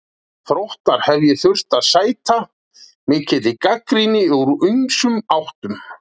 Þróttar hef ég þurft að sæta mikill gagnrýni úr ýmsum áttum.